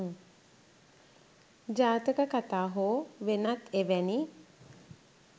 ජාතක කතා හෝ වෙනත් එවැනි